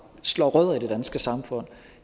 slår rødder i det danske samfund